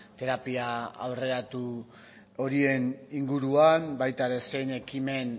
terapia aurreratu horien inguruan baita ere zein ekimen